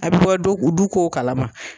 A bɛ bɔ du du kow kalama